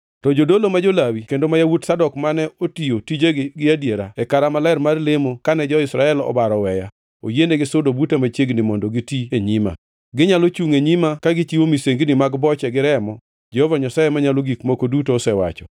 “ ‘To jodolo ma jo-Lawi kendo ma nyikwa Zadok mane otiyo tijegi gi adiera e kara maler mar lemo kane jo-Israel obaro oweya, oyienigi sudo buta machiegni mondo giti e nyima. Ginyalo chungʼ e nyima ka gichiwo misengini mag boche gi remo, Jehova Nyasaye Manyalo Gik Moko Duto osewacho.